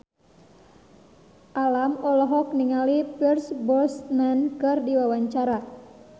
Alam olohok ningali Pierce Brosnan keur diwawancara